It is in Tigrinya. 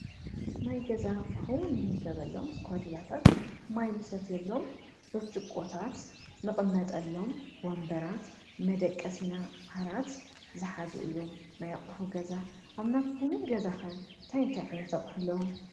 ናይ ገዛ ኣቁሑ ንምገበሎም እስኳዲላታት ፣ማይ ንሰትየሎም ብርጭቆታት፣ ንቅመጠሎም ወንበራት፣ መደቀሲና ዓራት ዝሓዙ እዮም ። ናይ ኣቱሑ ገዛ ኣብ ናትኩም እንታይ እንታይ ዓይነት ኣቁሑ ኣለዉ?